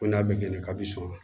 Ko n'a bɛ kɛ k'a bi sɔn